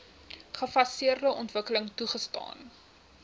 gefaseerde ontwikkeling toegestaan